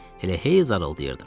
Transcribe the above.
Elə hey zarıldayırdım.